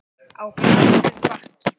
Á blaðinu er bakki.